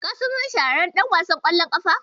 Ka san wani shahararren ɗan wasan ƙwallon ƙafa?